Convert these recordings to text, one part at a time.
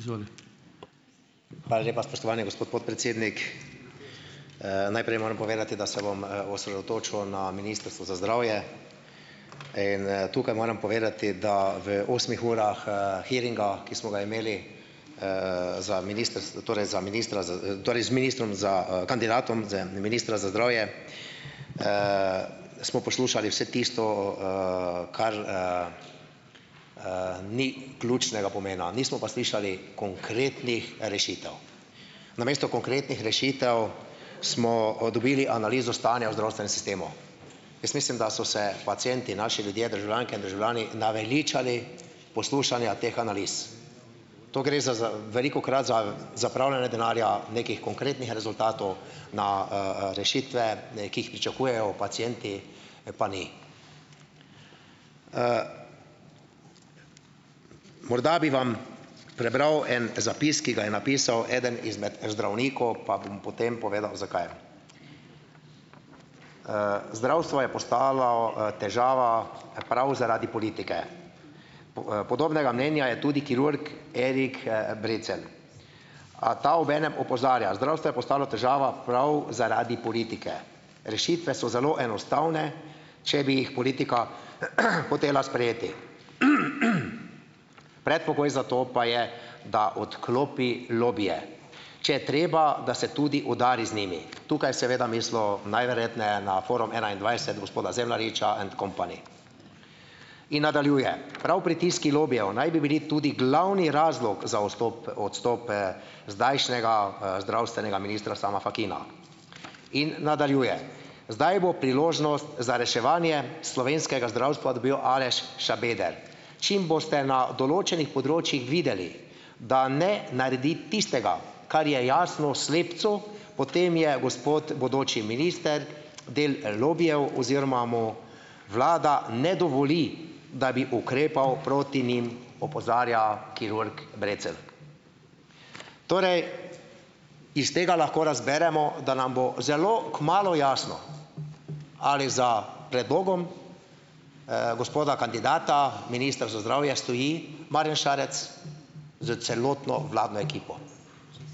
Izvoli. Hvala lepa, spoštovani gospod podpredsednik. najprej moram povedati, da se bom osredotočil na Ministrstvo za zdravje in tukaj moram povedati, da v osmih urah hearinga, ki smo ga imeli za torej za ministra torej z ministrom za, kandidatom za ministra za zdravje. smo poslušali vse tisto, kar ni ključnega pomena. Nismo pa slišali konkretnih rešitev. Namesto konkretnih rešitev smo dobili analizo stanja v zdravstvenem sistemu. Jaz mislim, da so se pacienti, naši ljudje, državljanke in državljani, naveličali poslušanja teh analiz. To gre za, za, velikokrat za zapravljanje denarja, nekih konkretnih rezultatov na rešitve, ki jih pričakujejo pacienti, pa ni. morda bi vam prebral en zapis, ki ga je napisal eden izmed zdravnikov, pa bom potem povedal, zakaj. zdravstvo je postalo težava prav zaradi politike. podobnega mnenja je tudi kirurg Erik Brecelj. A ta ob enem opozarja, zdravstvo je postalo težava prav zaradi politike. Rešitve so zelo enostavne, če bi jih politika hotela sprejeti. Predpogoj za to pa je, da odklopi lobije. Če je treba, da se tudi udari z njimi. Tukaj seveda mislil, najverjetneje na Forum enaindvajset gospoda Zemljariča and company. In nadaljuje: "Prav pritiski lobijev naj bi bili tudi glavni razlog za odstope zdajšnjega zdravstvenega ministra Sama Fakina." In nadaljuje: "Zdaj bo priložnost za reševanje slovenskega zdravstva dobil Aleš Šabeder. Čim boste na določenih področjih videli, da ne naredi tistega, kar je jasno slepcu, potem je gospod bodoči minister del lobijev oziroma mu vlada ne dovoli, da bi ukrepal proti njim," opozarja kirurg Brecelj. Torej, iz tega lahko razberemo, da nam bo zelo kmalu jasno ali za predlogom gospoda kandidata, minister za zdravje, stoji Marjan Šarec s celotno vladno ekipo.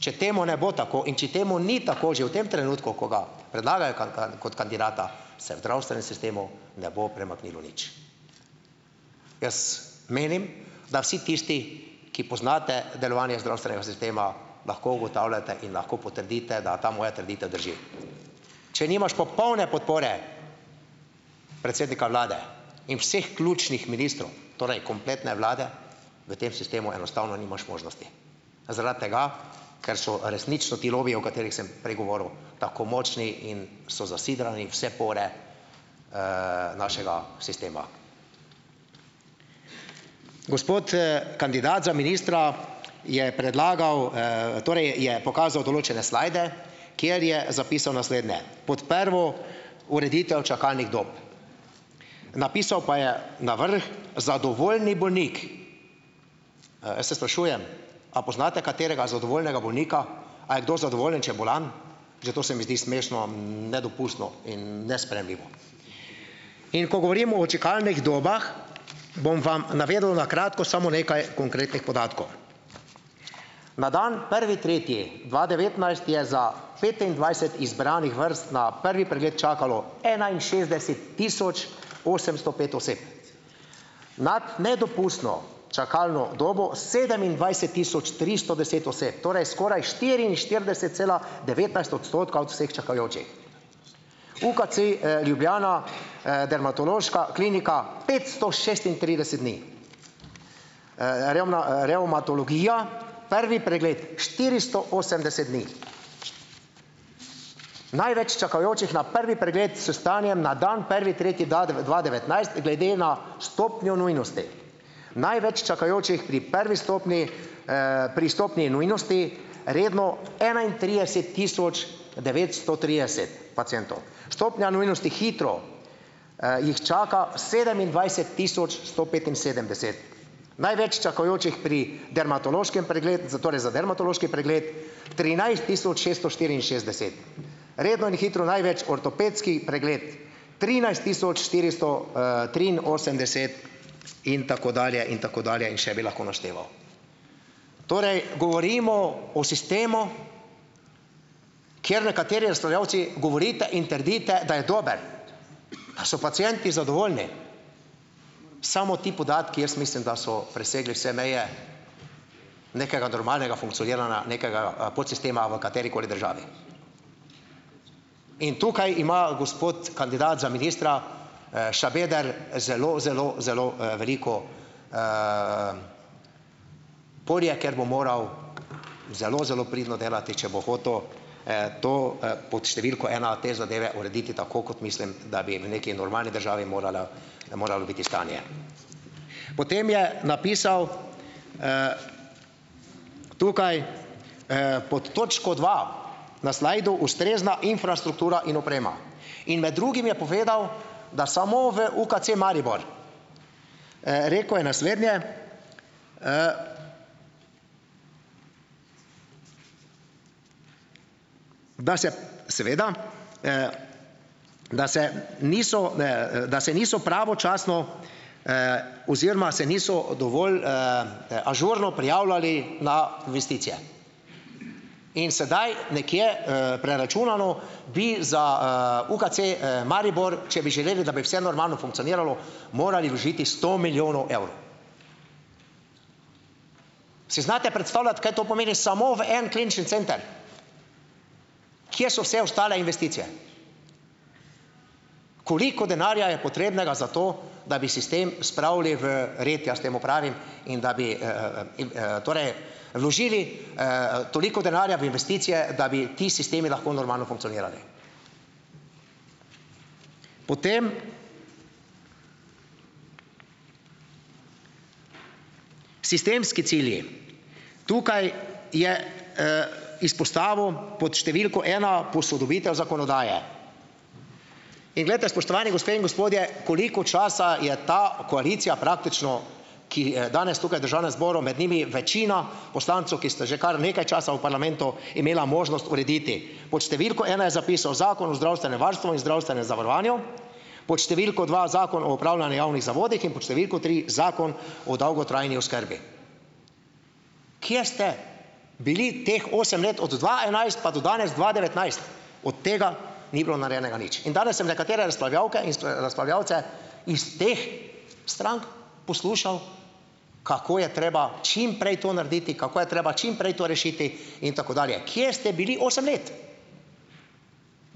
Če temu ne bo tako in če temu ni tako že v tem trenutku, ko ga predlagajo kaj, kot kandidata, se v zdravstvenem sistemu ne bo premaknilo nič. Jaz menim, da vsi tisti, ki poznate delovanje zdravstvenega sistema, lahko ugotavljate in lahko potrdite, da ta moja trditev drži . Če nimaš popolne podpore predsednika vlade in vseh ključnih ministrov, torej kompletne vlade, v tem sistemu enostavno nimaš možnosti. Zaradi tega, ker so resnično ti lobijev, katerih sem prej govoril, tako močni in so zasidrani vse pore našega sistema. Gospod kandidat za ministra je predlagal torej je pokazal določene slide, kjer je zapisal naslednje: "Pot prvo ureditev čakalnih dob." Napisal pa je na vrh zadovoljni bolnik. jaz se sprašujem, a poznate katerega zadovoljnega bolnika? A je kdo zadovoljen, če je bolan? Že to se mi zdi smešno, nedopustno in nesprejemljivo. In ko govorimo o čakalnih dobah, bom vam navedel na kratko samo nekaj konkretnih podatkov. Na dan prvi tretji dva devetnajst je za petindvajset izbranih vrst na prvi pregled čakalo enainšestdeset tisoč osemsto pet oseb. Nad nedopustno čakalno dobo sedemindvajset tisoč tristo deset oseb, torej skoraj štiriinštirideset cela devetnajst odstotka vseh čakajočih. UKC Ljubljana, dermatološka klinika petsto šestintrideset dni. revmatologija prvi pregled štiristo osemdeset dni. Največ čakajočih na prvi pregled, s stanjem na dan prvi tretji dva devetnajst glede na stopnjo nujnosti. Največ čakajočih pri prvi stopnji, pri stopnji nujnosti, redno enaintrideset tisoč devetsto trideset pacientov. Stopnja nujnosti hitro jih čaka sedemindvajset tisoč sto petinsedemdeset. Največ čakajočih pri dermatološkem pregled, za torej za dermatološki pregled, trinajst tisoč šeststo štiriinšestdeset. Redno in hitro največ ortopedski pregled, trinajst tisoč štiristo triinosemdeset in tako dalje in tako dalje in še bi lahko našteval. Torej, govorimo o sistemu, kjer nekateri ustvarjalci govorite in trdite, da je dober. Da so pacienti zadovoljni. Samo ti podatki, jaz mislim, da so presegli vse meje nekega normalnega funkcioniranja, nekega podsistema v katerikoli državi. In tukaj ima gospod kandidat za ministra, Šabeder, zelo, zelo, zelo veliko polje, ker bo moral zelo, zelo pridno delati , če bo hotel, to pod številko ena te zadeve urediti tako, kot mislim, da bi v nekaj normalni državi morala, moralo biti stanje . Potem je napisal tukaj pod točko dva na slidu: "Ustrezna infrastruktura in oprema." In med drugim je povedal, da samo v UKC Maribor, rekel je naslednje, da se, seveda, da se niso, da se niso pravočasno oziroma se niso dovolj ažurno prijavljali na investicije. In sedaj, nekje preračunano, bi za UKC Maribor, če bi želeli, da bi vse normalno funkcioniralo, morali vložiti sto milijonov evrov. Si znate predstavljati, kaj to pomeni, samo v en klinični center. Kje so vse ostale investicije? Koliko denarja je potrebnega za to, da bi sistem spravili v red, jaz temu pravim, in da bi in torej vložili toliko denarja v investicije, da bi ti sistemi lahko normalno funkcionirali. Potem, sistemski cilji. Tukaj je izpostavil pod številko ena posodobitev zakonodaje. In glejte, spoštovani gospe in gospodje, koliko časa je ta koalicija praktično, ki je danes tukaj v Državnem zboru, med njimi večina poslancev, ki ste že kar nekaj časa v parlamentu, imela možnost urediti. Pod številko ena je zapisal: "Zakon o zdravstvenem varstvu in zdravstvenem zavarovanju." Pod številko dva: "Zakon o upravljanju javnih zavodih", in pod številko tri: "Zakon o dolgotrajni oskrbi." Kje ste bili teh osem let, od dva enajst pa do danes, dva devetnajst. Od tega ni bilo narejenega nič. In danes sem nekatere razpavljavke in razpravljavce iz teh strank poslušal, kako je treba čimprej to narediti, kako je treba čimprej to rešiti in tako dalje. Kje ste bili osem let?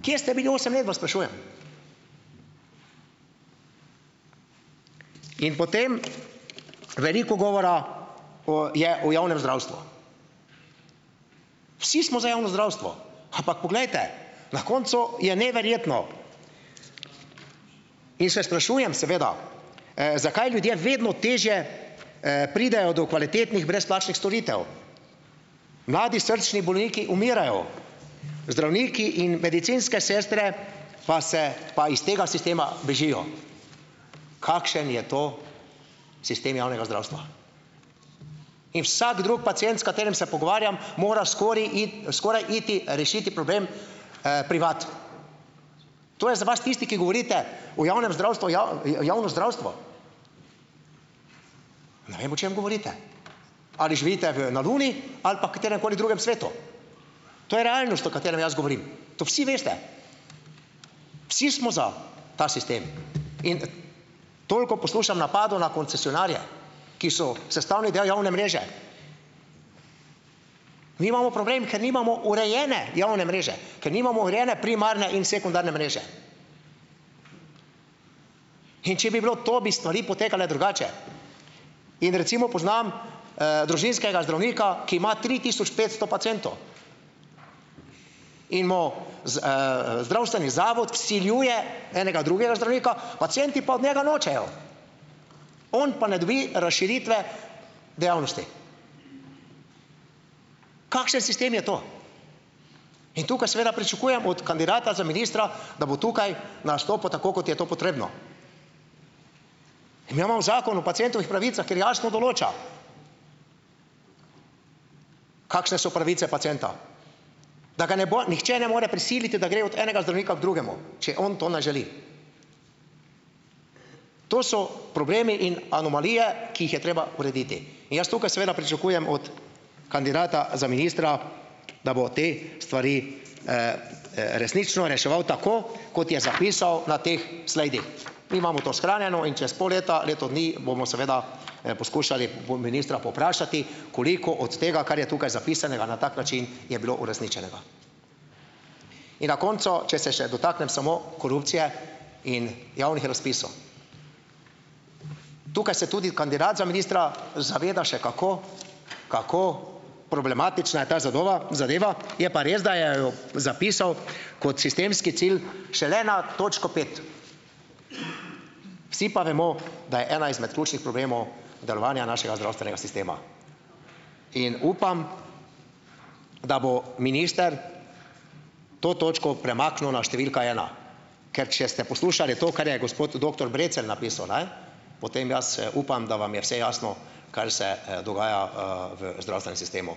Kje ste bili osem let, vas sprašujem? In potem veliko govora o, je o javnem zdravstvu. Vsi smo za javno zdravstvo. Ampak poglejte. Na koncu je neverjetno. In se sprašujem seveda, zakaj ljudje vedno težje pridejo do kvalitetnih brezplačnih storitev? Mladi srčni bolniki umirajo. Zdravniki in medicinske sestre pa se, pa iz tega sistema bežijo. Kakšen je to sistem javnega zdravstva? In vsak drug pacient, s katerim se pogovarjam, mora skoraj iti, skoraj iti, rešiti problem privat. To je za vas, tisti, ki govorite v javnem zdravstvu, javno zdravstvo. Ne vem, o čem govorite. Ali živite v, na luni ali pa kateremkoli drugem svetu. To je realnost, o katerem jaz govorim. To vsi veste. Vsi smo za ta sistem in toliko poslušam napadov na koncesionarje, ki so sestavni del javne mreže. Mi imamo problem, ker nimamo urejene javne mreže, ker nimamo urejene primarne in sekundarne mreže. In če bi bilo to, bi stvari potekale drugače. In recimo poznam družinskega zdravnika, ki ima tri tisoč petsto pacientov. In bomo zdravstveni zato vsiljuje enega drugega zdravnika, pacienti pa od njega nočejo. On pa ne dobi razširitve dejavnosti. Kakšen sistem je to? In tukaj seveda pričakujem od kandidata za ministra, da bo tukaj nastopil tako, kot je to potrebno. Mi imamo Zakon o pacientovih pravicah, kjer jasno določa, kakšne so pravice pacienta. Da ga ne bo nihče ne more prisiliti, da gre od enega zdravnika k drugemu. Če on to ne želi. To so problemi in anomalije, ki jih je treba urediti. In jaz tukaj seveda pričakujem od kandidata za ministra, da bo te stvari resnično reševal tako, kot je zapisal na teh slidih. Mi imamo to shranjeno in čez pol leta, leto dni bomo seveda poskušali ministra povprašati, koliko od tega, kar je tukaj zapisanega na tak način, je bilo uresničenega. In na koncu, če se še dotaknem samo korupcije in javnih razpisov. Tukaj se tudi kandidat za ministra zaveda še kako, kako problematična je ta zadeva, zadeva, je pa res, da je zapisal, kot sistemski cilj šele na točko pet. Vsi pa vemo, da je ena izmed ključnih problemov delovanje našega zdravstvenega sistema. In upam, da bo minister to točko premaknil na številka ena. Ker če ste poslušali to, kar je gospod doktor Brecelj napisal, ne, potem jaz upam, da vam je vse jasno, kar se dogaja v zdravstvenem sistemu.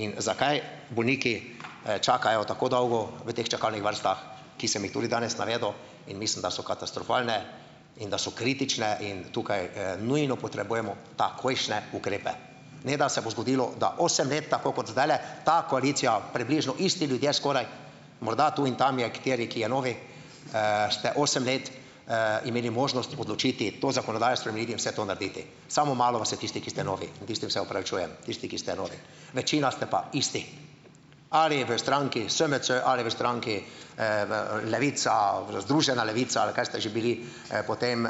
In zakaj bolniki čakajo tako dolgo v teh čakalnih vrstah, ki sem jih tudi danes navedel, in mislim, da so katastrofalne in da so kritične, in tukaj nujno potrebujemo takojšnje ukrepe. Ne da se bo zgodilo, da osem let, tako kot zdajle, ta koalicija, približno isti ljudje skoraj, morda tu in tam je kateri, ki je novi, ste osem let imeli možnost odločiti, to zakonodajo spremeniti, vse to narediti. Samo malo vas je tistih, ki ste novi. Tistim se opravičujem. Tisti, ki ste novi. Večina ste pa isti. Ali v stranki SMC ali v stranki v Levica, Združena Levica ali kaj ste že bili, potem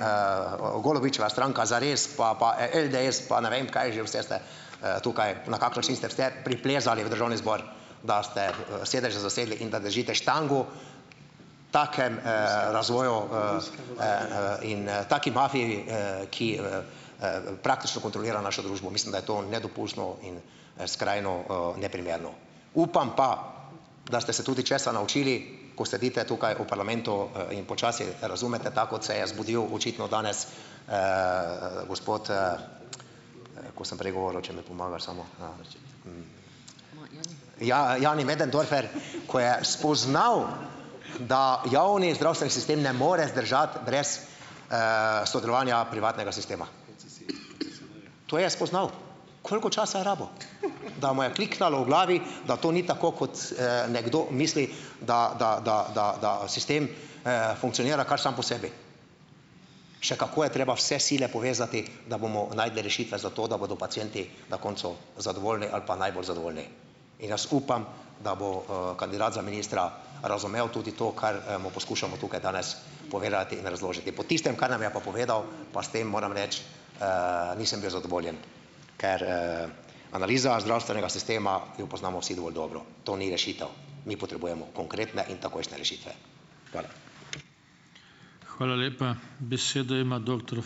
Golobičeva stranka Zares, pa, pa LDS pa ne vem, kaj že vse tukaj, na kakšen način ste vse priplezali v Državni zbor. Da ste sedeže zasedli in da držite štango takemu razvoju in taki mafiji ki praktično kontrolira našo družbo. Mislim, da je to nedopustno in skrajno neprimerno. Upam pa, da ste se tudi česa naučili, ko sedite tukaj v parlamentu in počasi razumete tako, ko se je zbudil očitno gospod, ko sem prej govoril, če mi pomagaš samo, Jani Möderndorfer, ko je spoznal , da javni zdravstveni sistem ne more zdržati brez sodelovanja privatnega sistema. To je spoznal. Koliko časa je rabil? Da mu je kliknilo v glavi, da to ni tako, kot nekdo misli, da, da, da, da, da sistem funkcionira kar samo po sebi. Še kako je treba vse sile povezati, da bomo našli rešitve za to, da bodo pacienti na koncu zadovoljni ali pa najbolj zadovoljni. In jaz upam, da bo kandidat za ministra razumel tudi to, kar mu poskušamo tukaj danes povedati in razložiti. Po tistem, kar nam je pa povedal, pa s tem, moram reči, nisem bil zadovoljen, ker analiza zdravstvenega sistema, jo poznamo vsi dovolj dobro. To ni rešitev. Mi potrebujemo konkretne in takojšnje rešitve. Hvala. Hvala lepa. Besedo ima doktor